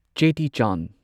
Cheti Chand